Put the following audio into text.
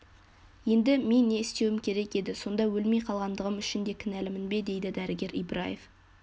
енді мен не істеуім керек еді сонда өлмей қалғандығым үшін де кінәлімін бе дейді дәрігер ибраев